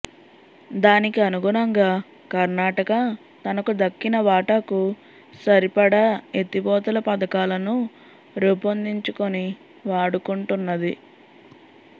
దానికి అనుగుణంగా కర్ణాటక తనకు దక్కిన వాటాకు సరిపడా ఎత్తిపోతల పథకాలను రూపొందించుకొని వాడుకుంటున్నది